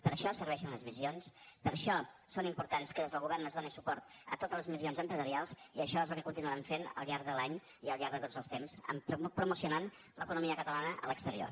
per això serveixen les missions per això és important que des del govern es doni suport a totes les missions empresarials i això és el que continuarem fent al llarg de l’any i al llarg de tots els temps promocionant l’economia catalana a l’exterior